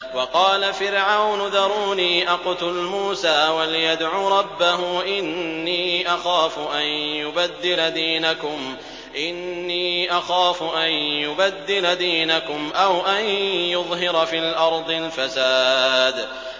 وَقَالَ فِرْعَوْنُ ذَرُونِي أَقْتُلْ مُوسَىٰ وَلْيَدْعُ رَبَّهُ ۖ إِنِّي أَخَافُ أَن يُبَدِّلَ دِينَكُمْ أَوْ أَن يُظْهِرَ فِي الْأَرْضِ الْفَسَادَ